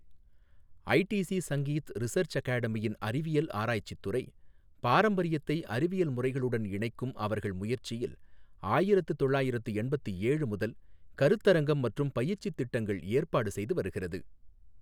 ITC Sangeet research அகாடமியின் அறிவியல் ஆராய்ச்சித் துறை, பாரம்பரியத்தை அறிவியல் முறைகளுடன் இணைக்கும் அவர்கள் முயற்சியில், ஆயிரத்து தொள்ளாயிரத்து எண்பத்து ஏழு முதல் கருத்தரங்கம் மற்றும் பயிற்சி திட்டங்கள் ஏற்பாடு செய்து வருகிறது.